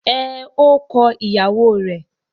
Ẹn, ó kọ ìyàwó rẹ̀.